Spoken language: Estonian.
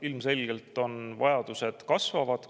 Ilmselgelt vajadused kasvavad.